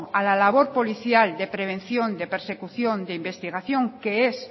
a la labor policial de prevención de persecución de investigación que es